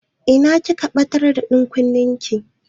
Ina kika ɓatar da ɗankunnen ki?